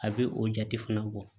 A bɛ o jate fana bɔ